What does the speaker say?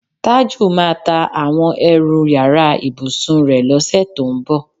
Tájù máa ta àwo̩n e̩rù yàrá ìbùsùn rè̩ ló̩sè̩ tó ń bò̩.